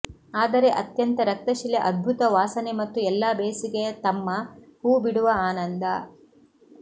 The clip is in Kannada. ಆದರೆ ಅತ್ಯಂತ ರಕ್ತಶಿಲೆ ಅದ್ಭುತ ವಾಸನೆ ಮತ್ತು ಎಲ್ಲಾ ಬೇಸಿಗೆಯ ತಮ್ಮ ಹೂಬಿಡುವ ಆನಂದ